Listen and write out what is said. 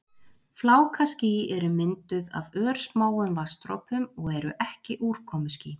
Flákaský eru mynduð af örsmáum vatnsdropum og eru ekki úrkomuský.